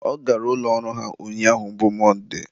ọ gara ụlọ ọrụ ha ụnyaahụ bụ Mọnde